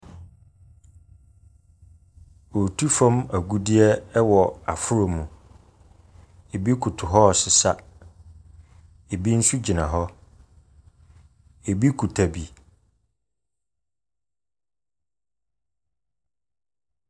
Wɔretu fam agudeɛ wɔ aforɔ mu. Ebi koto hɔ ressea. Ebi nso gyiana hɔ. Ebi kuta bi.